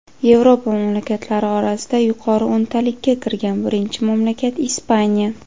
Yevropa mamlakatlari orasida yuqori o‘ntalikka kirgan birinchi mamlakat Ispaniya.